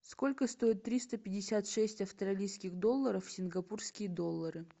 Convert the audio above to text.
сколько стоит триста пятьдесят шесть австралийских долларов в сингапурские доллары